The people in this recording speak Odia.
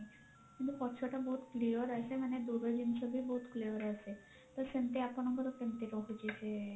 କିନ୍ତୁ ପଛ ଟା ବହୁତ clear ଆସେ ମାନେ ଦୂର ଜିନିଷ ବି ବହୁତ clear ଆସେ ତ ସେମତି ଆପଣଙ୍କର କେମତି ରହୁଛି ସେ